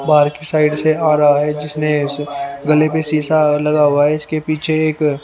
बाहर के साइड से आ रहा है जिसने इस गले पे शीशा लगा हुआ है इसके पीछे एक--